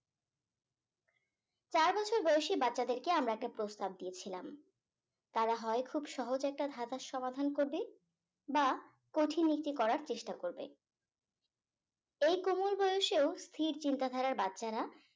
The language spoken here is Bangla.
চার বছর বয়সী বাচ্চাদের কে আমরা একটা প্রস্তাব দিয়েছিলাম তারা হয় খুব সহজ একটা ধাঁধার সমাধান করবে বা কঠিন একটি করার চেষ্টা করবে এই কোমল বয়সেও স্থির চিন্তা ধারার বাচ্চারা